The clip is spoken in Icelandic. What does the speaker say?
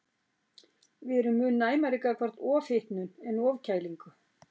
Við erum mun næmari gagnvart ofhitnun en ofkælingu.